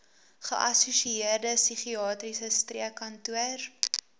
geassosieerde psigiatriese streekkantoor